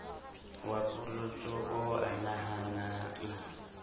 wa polotso oo a nahanang